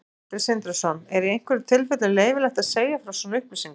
Sindri Sindrason: Er í einhverjum tilfellum leyfilegt að segja frá svona upplýsingum?